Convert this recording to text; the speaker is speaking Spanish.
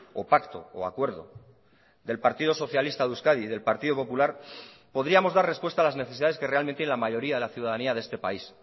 o pacto o acuerdo del partido socialista de euskadi y del partido popular podríamos dar respuesta a las necesidades que realmente la mayoría de la ciudadanía de este país